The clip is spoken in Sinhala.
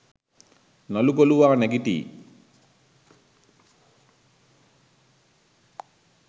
නළු කොලුවා නැගිටියි